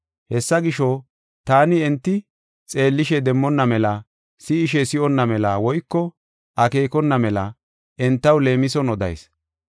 Hessa gisho, taani enti, xeellishe demmonna mela, si7ishe si7onna mela woyko akeekona mela entaw leemison odayis.